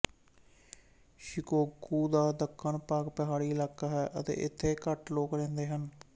Shikoku ਦਾ ਦੱਖਣ ਭਾਗ ਪਹਾੜੀ ਇਲਾਕਾ ਹੈ ਅਤੇ ਇੱਥੇ ਘੱਟ ਲੋਕ ਰਹਿੰਦੇ ਹਨ